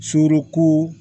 Surun